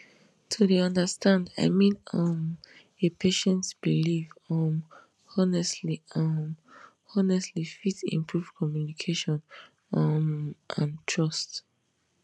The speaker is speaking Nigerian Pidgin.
to dey understand i mean um a patient belief um honestly um honestly fit improve communication um and trust